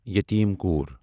یَتیم کوٗر